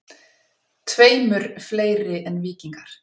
Tveimur fleiri en Víkingar.